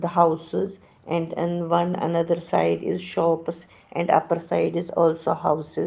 The houses and in one another side is shops and upper side is also houses.